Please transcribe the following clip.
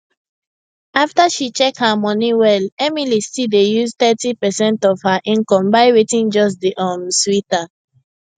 after she check her money well emily still dey use thirty percent of her income buy wetin just dey um sweet her